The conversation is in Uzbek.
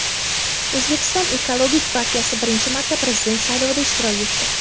O‘zbekiston ekologik partiyasi birinchi marta prezident saylovida ishtirok etdi.